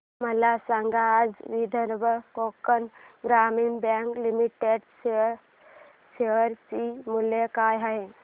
मला सांगा आज विदर्भ कोकण ग्रामीण बँक लिमिटेड च्या शेअर चे मूल्य काय आहे